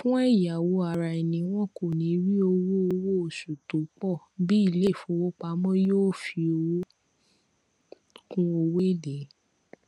fún ẹyáwó araẹni wọn kò níí rí owó owó oṣù tó pọ bí iléìfowópamọ yóò fi owó kún owó èlé